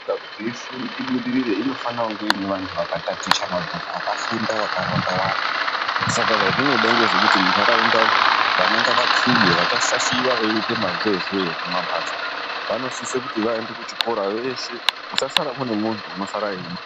Nyika ibudirire inofana kunge ine antu akataticha mabhuku akafunda vakaramba vakawanda Saka zvazvinoda munharaunda vana ngavakure kusuwa veita mazeze muma mbatso vanosisa vaende kuchikora veshe kusasara mune muntu anenge eida kuba.